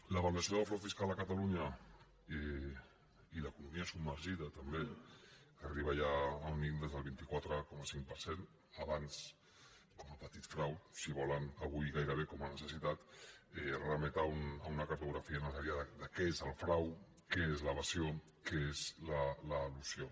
l’avaluació del frau fiscal a catalunya i l’economia submergida també que arriba ja a un índex del vint quatre coma cinc per cent abans com a petit frau si volen avui gaire·bé com a necessitat remet a una cartografia necessà·ria de què és el frau què és l’evasió què és l’elusió